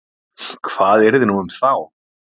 Hvað yrði nú um þá?